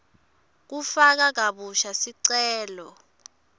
kufaka kabusha sicelo